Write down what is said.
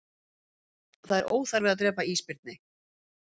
Það er óþarfi að drepa ísbirni